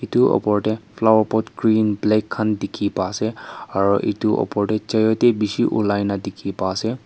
itu opor teh flowerpot green black khan dikhi pai ase aru itu opor teh chayote dishi ulai na dikhi pai ase.